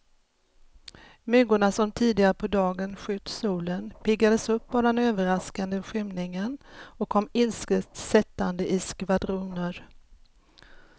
Myggorna som tidigare på dagen skytt solen, piggades upp av den överraskande skymningen och kom ilsket sättande i skvadroner.